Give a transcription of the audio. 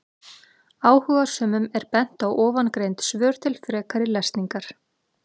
Áhugasömum er bent á ofangreind svör til frekari lesningar.